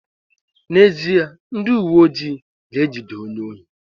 N'ezie, ndị uweojii ga-ejide onye ohi